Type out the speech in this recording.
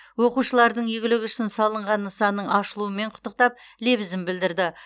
оқушылардың игілігі үшін салынған нысанның ашылуымен құттықтап лебізін білдірді